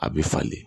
A bɛ falen